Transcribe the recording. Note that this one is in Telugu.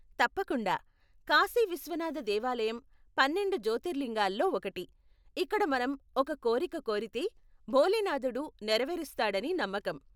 తప్పకుండా, కాశీ విశ్వనాథ దేవాలయం పన్నెండు జ్యోతిర్లింగాల్లో ఒకటి, ఇక్కడ మనం ఒక కోరిక కోరితే, భోలేనాథుడు నెరవేరుస్తాడని నమ్మకం.